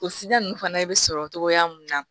O filan ninnu fana bɛ sɔrɔ togoya mun na